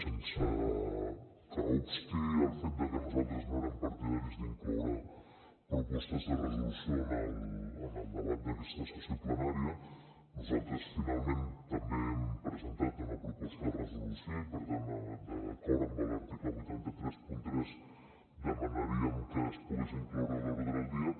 sense que obsti el fet de que nosaltres no érem partidaris d’incloure propostes de resolució en el debat d’aquesta sessió plenària nosaltres finalment també hem presentat una proposta de resolució i per tant d’acord amb l’article vuit cents i trenta tres demanaríem que es pogués incloure a l’ordre del dia